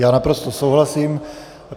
Já naprosto souhlasím.